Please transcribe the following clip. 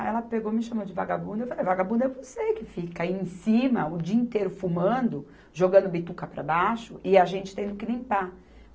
Aí ela pegou me chamou de vagabunda e eu falei, vagabunda é você que fica aí em cima o dia inteiro fumando, jogando bituca para baixo e a gente tendo que limpar.